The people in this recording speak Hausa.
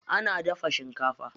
Ana daga shinkafa.